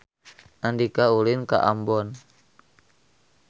Andika ulin ka Ambon